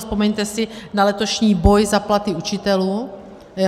Vzpomeňte si na letošní boj za platy učitelů.